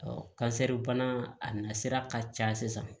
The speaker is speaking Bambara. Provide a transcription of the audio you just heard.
kansɛri bana a na sira ka ca sisan